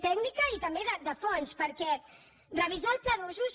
tècnica i també de fons perquè revisar el pla d’usos